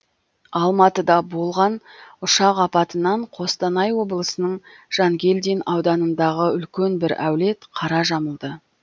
алматыда болған ұшақ апатынан қостанай облысының жангелдин ауданындағы үлкен бір әулет қара жамылды